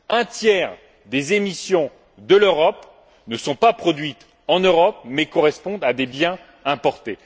Un tiers des émissions de l'Europe ne sont pas produites en Europe mais correspondent à des biens importés.